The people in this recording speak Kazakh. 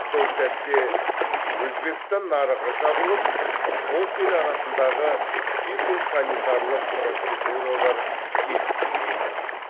сол сәтте өзбекстан нарығы жабылып қос ел арасындағы фитосанитарлық процедуралар келісілмей қалған